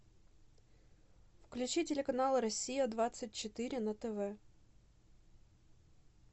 включи телеканал россия двадцать четыре на тв